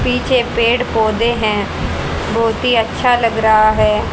पीछे पेड़ पौधे हैं बहोत ही अच्छा लग रहा है।